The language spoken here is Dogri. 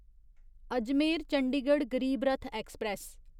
अजमेर चंडीगढ़ गरीब रथ एक्सप्रेस